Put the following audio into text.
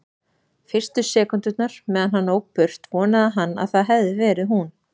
Fyrstu sekúndurnar meðan hann ók burt vonaði hann að það hefði verið hún.